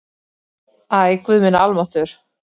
Æ, guð minn almáttugur